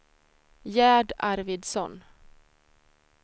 Gerd Arvidsson